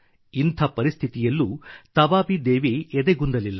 ಇಂಥ ಪರಿಸ್ಥಿತಿಯಲ್ಲೂ ತಬಾಬಿ ದೇವಿ ಎದೆಗುಂದಲಿಲ್ಲ